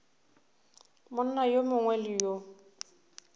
monna yo mongwe le yo